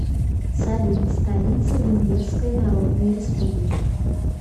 салют столица венгерская народная республика